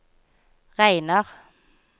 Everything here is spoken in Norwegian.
regner